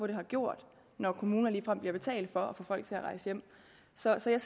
det har gjort når kommuner ligefrem er blevet betalt for at få folk til at rejse hjem så jeg ser